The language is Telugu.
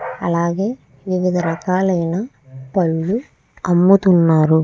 అలాగే వివిధ రాకల్లు ఆయన పళ్ళు అముతునారు.